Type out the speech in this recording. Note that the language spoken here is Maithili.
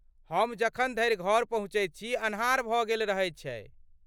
हम जखन धरि घर पहुँचैत छी अन्हार भऽ गेल रहैत छै।